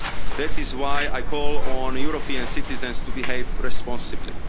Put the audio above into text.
That is why I call on European citizens to behave responsibly.